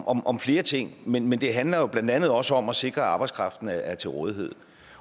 om om flere ting men men det handler jo blandt andet også om at sikre at arbejdskraften er til rådighed